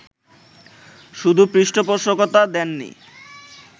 শুধু পৃষ্ঠপোষকতা দেননি